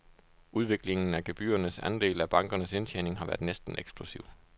Udviklingen af gebyrernes andel af bankernes indtjening har været næsten eksplosiv.